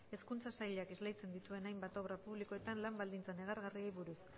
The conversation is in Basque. hezkuntza sailak esleitzen dituen hainbat obra publikoetako lan baldintza negargarriei buruz